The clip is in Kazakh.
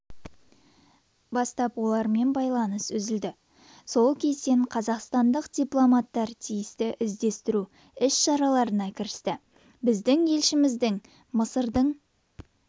бастап олармен байланыс үзілді сол кезден қазақстандық дипломаттар тиісті іздестіру іс-шараларына кірісті біздің елшілігіміз мысырдың